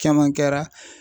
Caman kɛra.